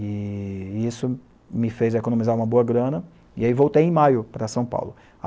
E isso me fez economizar uma boa grana, e aí voltei em maio para São Paulo.